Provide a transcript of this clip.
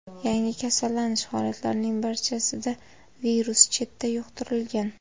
Yangi kasallanish holatlarining barchasida virus chetdan yuqtirilgan.